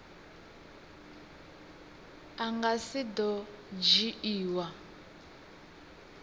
a nga si do dzhiiwa